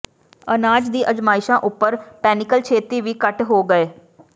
ਅਨਾਜ ਦੀ ਅਜ਼ਮਾਇਸ਼ਾਂ ਉਪਰ ਪੈਨਿਕਲ ਛੇਤੀ ਹੀ ਘੱਟ ਹੋ ਗਏ